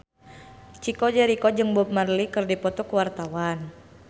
Chico Jericho jeung Bob Marley keur dipoto ku wartawan